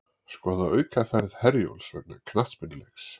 Skoða aukaferð Herjólfs vegna knattspyrnuleiks